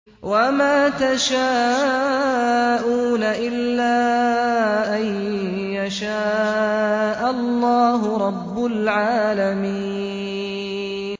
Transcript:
وَمَا تَشَاءُونَ إِلَّا أَن يَشَاءَ اللَّهُ رَبُّ الْعَالَمِينَ